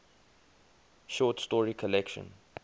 short story collection